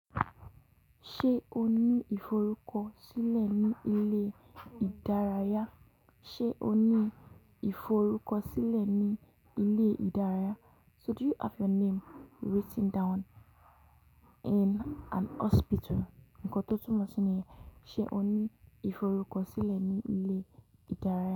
Ṣé o ní ìforúkọ sílẹ̀ ní ilé ìdárayá? So do you have your name written down in an hospital? Nǹkan tó túmọ̀ sí ní, ṣe o ní ìforúkọ sílẹ̀ ní ilé ìdárayá.